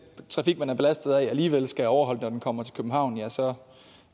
trafik man er belastet af alligevel skal overholde reglerne når den kommer til københavn ja så